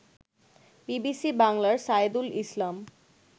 BBC বাংলার সায়েদুল ইসলাম